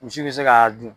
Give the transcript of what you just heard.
Misi bɛ se k'a dun